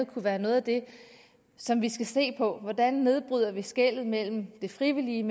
kunne være noget af det som vi skal se på hvordan nedbryder vi skellet mellem det frivillige